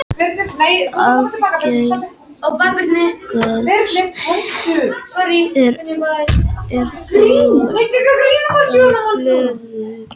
Algengast er þó að blöðin séu sjö til níu.